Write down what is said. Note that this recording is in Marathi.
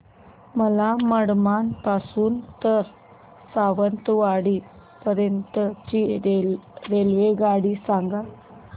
मला मनमाड पासून तर सावंतवाडी पर्यंत ची रेल्वेगाडी सांगा